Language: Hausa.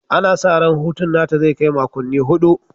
Ana sa ran hutun nata zai kai makonni hudu